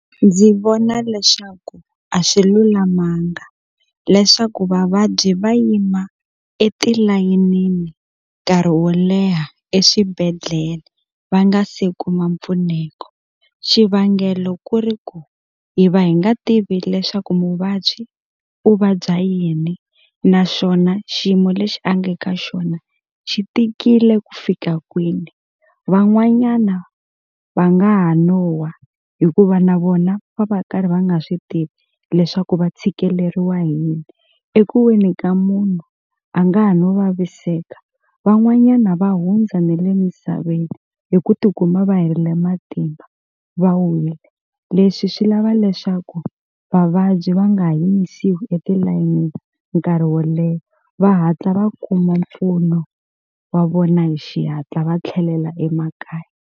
Ndzi vona leswaku a swi lulamanga leswaku vavabyi va yima etilayenini nkarhi wo leha eswibedhlele va nga se kuma mpfuneko xivangelo ku ri ku hi va hi nga tivi leswaku muvabyi u vabya yini naswona xiyimo lexi a nge ka xona xi tikile ku fika kwini van'wanyana va nga ha no wa hikuva na vona va va karhi va nga swi tivi leswaku va tshikeleriwa hi yini eku weni ka munhu a nga ha no vaviseka van'wanyana va hundza ne le misaveni hi ku tikuma va herile matimba va wile leswi swi lava leswaku vavabyi va nga ha yimisiwi etilayenini nkarhi wo leha va hatla va kuma mpfuno wa vona hi xihatla va tlhelela emakaya.